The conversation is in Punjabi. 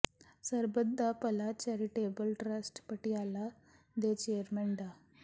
ਸਰਬੱਤ ਦਾ ਭਲਾ ਚੈਰੀਟੇਬਲ ਟਰੱਸਟ ਪਟਿਆਲਾ ਦੇ ਚੇਅਰਮੈਨ ਡਾ